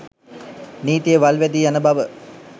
නීතිය වල් වැදී යන බව